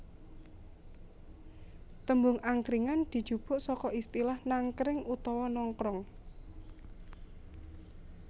Tembung angkringan dijupuk saka istilah nangkring utawa nongkrong